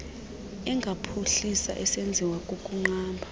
engaphuhliswa esenziwa kukunqaba